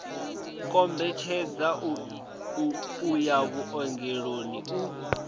kombetshedza u ya vhuongeloni u